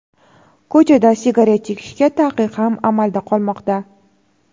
Ko‘chada sigaret chekishga taqiq ham amalda qolmoqda.